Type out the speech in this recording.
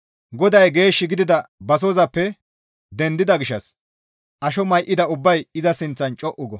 GODAY geesh gidida basozappe dendida gishshas asho may7ida ubbay iza sinththan co7u go.